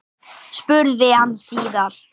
spurði hann síðan.